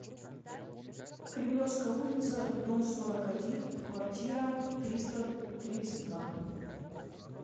кремлевская улица дом сорок один в квартира триста тридцать два